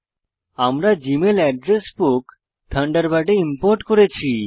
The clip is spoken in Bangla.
আমরা জী মেল এড্রেস বুক থান্ডারবার্ডে ইম্পোর্ট করেছি